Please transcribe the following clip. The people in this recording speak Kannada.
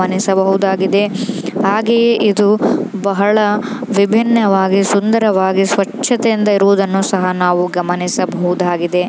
ಗಮನಿಸಬಹುದಾಗಿದೆ ಹಾಗೆಯೇ ಇದು ಬಹಳ ವಿಭಿನ್ನವಾಗಿ ಸುಂದರವಾಗಿ ಸ್ವಚ್ಛತೆಯಿಂದ ಇರುವುದನ್ನು ಸಹ ನಾವು ಗಮನಿಸಬಹುದಾಗಿದೆ.